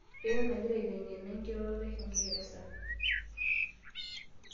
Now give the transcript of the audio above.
Eton agira aiteng'ena enkiroroto e kingeresa.